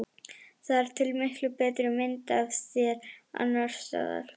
Það er til miklu betri mynd af þér annars staðar.